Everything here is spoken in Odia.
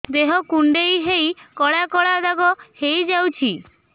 ଦେହ କୁଣ୍ଡେଇ ହେଇ କଳା କଳା ଦାଗ ହେଇଯାଉଛି